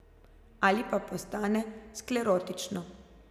Ali pa postane sklerotično.